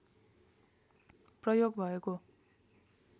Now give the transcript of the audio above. प्रयोग भएको